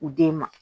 U den ma